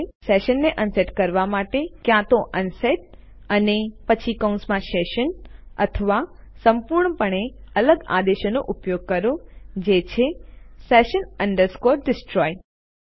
આપણા સેશનને અનસેટ કરવા માટે ક્યાં તો અનસેટ અને પછી કૌંસમાં સેશન અથવા સંપૂર્ણપણે અલગ આદેશનો ઉપયોગ કરો જે છે session destroy